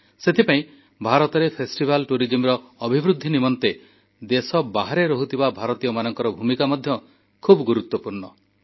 ସେଥିପାଇଁ ଭାରତରେ ଫେଷ୍ଟିଭାଲ୍ଟୁରିଜିମର ଅଭିବୃଦ୍ଧି ନିମନ୍ତେ ଦେଶ ବାହାରେ ରହୁଥିବା ଭାରତୀୟଙ୍କ ଭୂମିକା ମଧ୍ୟ ଖୁବ୍ ଗୁରୁତ୍ୱପୂର୍ଣ୍ଣ